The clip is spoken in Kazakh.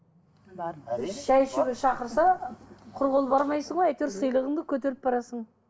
шай ішуге шақырса құр қол бармайсың ғой әйтеуір сыйлығыңды көтеріп барасың